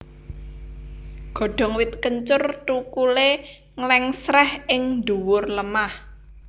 Godhong wit kencur thukulé nglèngsrèh ing dhuwur lemah